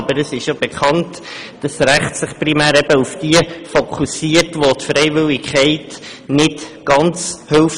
Aber es ist ja bekannt, dass sich das Recht primär auf diejenigen fokussiert, bei welchen die Freiwilligkeit nicht ganz hilft.